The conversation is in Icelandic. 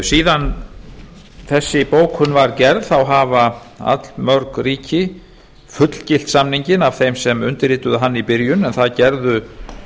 síðan þessi bókun var gerð hafa allmörg ríki fullgilt samninginn af þeim sem undirrituðu hann í byrjun en það gerðu